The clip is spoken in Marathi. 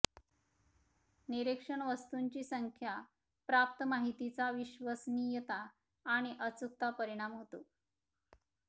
निरीक्षण वस्तूंची संख्या प्राप्त माहितीचा विश्वसनीयता आणि अचूकता परिणाम होतो